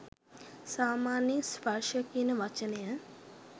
සාමාන්‍යයෙන් ස්පර්ශය කියන වචනය